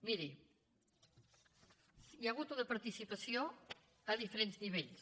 miri hi ha hagut una participació a diferents nivells